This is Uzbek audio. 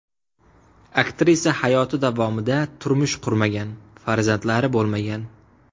Aktrisa hayoti davomida turmush qurmagan, farzandlari bo‘lmagan.